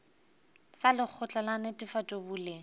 sa lekgotla la netefatšo boleng